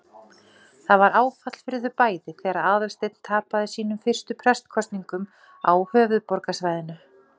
Það var áfall fyrir þau bæði þegar Aðalsteinn tapaði sínum fyrstu prestskosningum á höfuðborgarsvæðinu.